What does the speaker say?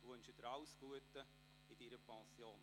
Ich wünsche Ihnen alles Gute in Ihrer Pension.